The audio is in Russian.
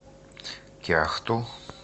кяхту